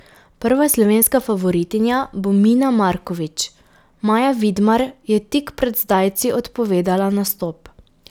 Prva slovenska favoritinja bo Mina Markovič, Maja Vidmar je tik pred zdajci odpovedala nastop.